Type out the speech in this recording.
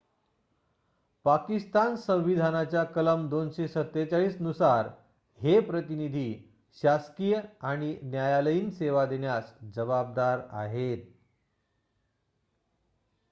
पाकिस्तान संविधानाच्या कलम 247 नुसार हे प्रतिनिधी शासकीय आणि न्यायालयीन सेवा देण्यास जबाबदार आहेत